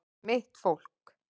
Mitt fólk